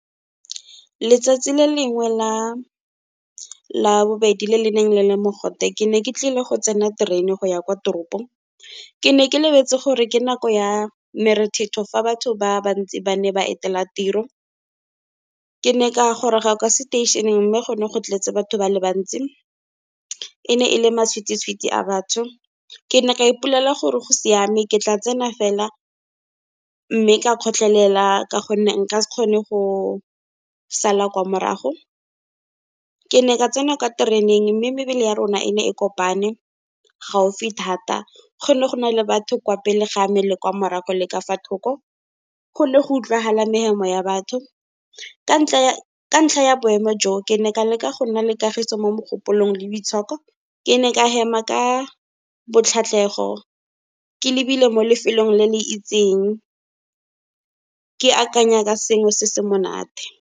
Letsatsi le lengwe la bobedi le le neng le le mogote, ke ne ke tlile go tsena terene go ya kwa toropong, ke ne ke lebetse gore ke nako ya merethetho, fa batho ba bantsi ba ne ba etela tiro. Ke ne ka goroga kwa seteišeneng, mme go ne go tletse batho ba le bantsi, e ne e le matshwititshwiti a batho. Ke ne ka ipolela gore go siame ke tla tsena fela, mme ka kgotlhela ka gonne nka se kgone go sala kwa morago. Ke ne ka tsena kwa tereneng, mme mebele ya rona e ne e kopane gaufi thata, gone go na le batho kwa pele ga a me le kwa morago, le ka fa thoko. Go le go utlwagala mehemo ya batho, ka ntlha ya boemo jo, ke ne ka leka go nna le kagiso mo mogopolong le boitshoko. Ke ne ka hema ka botlhatlhego ke lebile mo lefelong le le itseng, ke akanya ka sengwe se se monate.